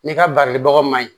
N'i ka barilibagaw ma ɲi